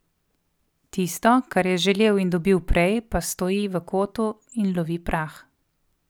Tisto, kar je želel in dobil prej, pa stoji v kotu in lovi prah.